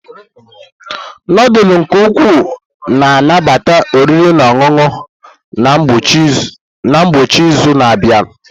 Nudulu ndi ukwu na-anabata oriri na ọṅụṅụ na ngwụcha izu na-abịa.